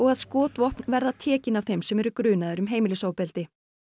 að skotvopn verða tekin af þeim sem eru grunaðir um heimilisofbeldi